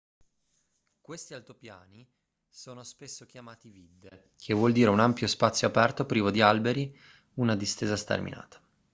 questi altopiani sono spesso chiamati vidde che vuol dire un ampio spazio aperto privo di alberi una distesa sterminata